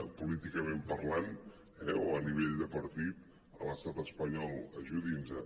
políticament parlant eh o a nivell de partit a l’estat espanyol ajudin·nos